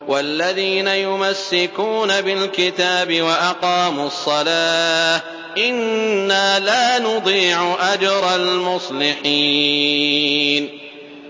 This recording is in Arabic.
وَالَّذِينَ يُمَسِّكُونَ بِالْكِتَابِ وَأَقَامُوا الصَّلَاةَ إِنَّا لَا نُضِيعُ أَجْرَ الْمُصْلِحِينَ